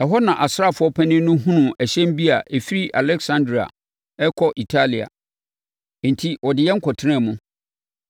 Ɛhɔ na asraafoɔ panin no hunuu ɛhyɛn bi a ɛfiri Aleksandria rekɔ Italia. Enti, ɔde yɛn kɔtenaa mu.